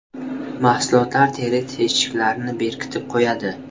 Mahsulotlar teri teshiklarini berkitib qo‘yadi.